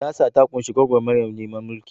Siyasa ta kunshi gwagwarmayar neman mulki.